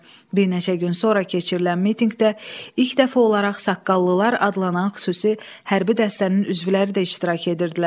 Bir neçə gün sonra keçirilən mitinqdə ilk dəfə olaraq saqqallılar adlanan xüsusi hərbi dəstənin üzvləri də iştirak edirdilər.